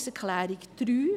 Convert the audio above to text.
Zur Planungserklärung 3: